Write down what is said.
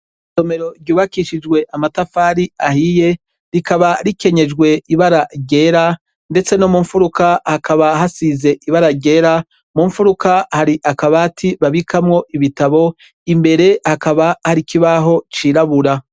Isomero ryubakishijwe amatafari ahiye rikaba rikenyesheje ibara ryera mbese no mumfuruka hasize ibara ryera mumfuruka hari akabati babikamwo ibitabo imbere haka hari ikibaho cirabura.